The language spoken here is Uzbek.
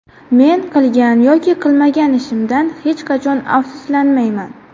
Men qilgan yoki qilmagan ishimdan hech qachon afsuslanmayman”.